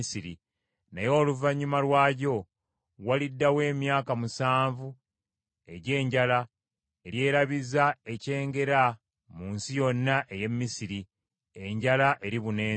naye oluvannyuma lwagyo waliddawo emyaka musanvu egy’enjala eryerabiza ekyengera mu nsi yonna ey’e Misiri; enjala eribuna ensi.